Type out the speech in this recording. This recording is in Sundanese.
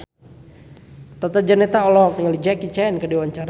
Tata Janeta olohok ningali Jackie Chan keur diwawancara